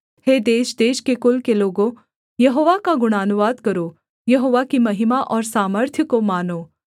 हे देशदेश के कुल के लोगों यहोवा का गुणानुवाद करो यहोवा की महिमा और सामर्थ्य को मानो